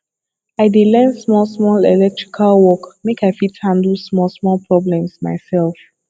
i dey learn small small electrical work make i fit handle small small problems myself